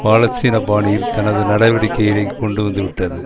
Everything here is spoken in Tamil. பாலஸ்தீன பாணியில் தனது நடவடிக்கைகளை கொண்டு வந்துவிட்டது